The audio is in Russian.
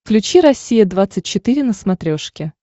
включи россия двадцать четыре на смотрешке